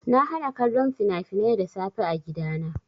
Na hana kallon fina-finai da safe a gidana.